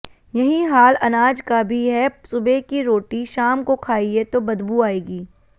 यहीं हाल अनाज का भी है सुबह की रोटी शाम को खाइए तो बदबू आएगी